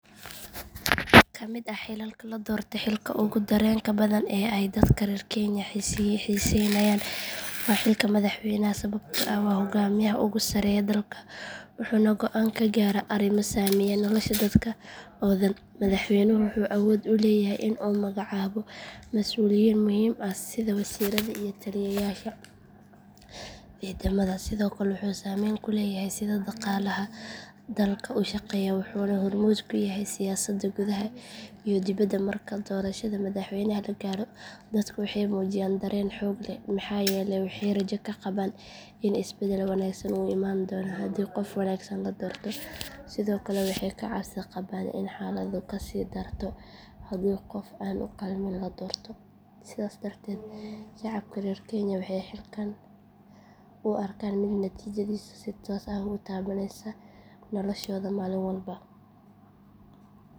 Ka mid ah xilalka la doorto xilka ugu dareenka badan ee ay dadka reer kenya xiisaynayaan waa xilka madaxweynaha sababtoo ah waa hogaamiyaha ugu sarreeya dalka wuxuuna go’aan ka gaaraa arrimo saameeya nolosha dadka oo dhan madaxweynuhu wuxuu awood u leeyahay in uu magacaabo masuuliyiin muhiim ah sida wasiirada iyo taliyayaasha ciidamada sidoo kale wuxuu saameyn ku leeyahay sida dhaqaalaha dalka u shaqeeyo wuxuuna hormuud ka yahay siyaasadda gudaha iyo dibadda marka doorashada madaxweynaha la gaaro dadka waxay muujiyaan dareen xoog leh maxaa yeelay waxay rajo ka qabaan in isbedel wanaagsan uu imaan doono haddii qof wanaagsan la doorto sidoo kale waxay ka cabsi qabaan in xaaladdu ka sii darto haddii qof aan u qalmin la doorto sidaas darteed shacabka reer kenya waxay xilkan u arkaan mid natiijadiisa si toos ah u taabaneysa noloshooda maalin walba.